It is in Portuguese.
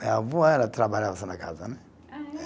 Minha avó, ela trabalhava só na casa, né? Ah, é?